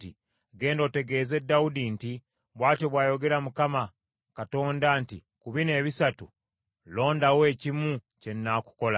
“Genda otegeeze Dawudi nti, ‘Bw’atyo bw’ayogera Mukama Katonda nti: ku bino ebisatu londawo ekimu kye nnaakukola.’ ”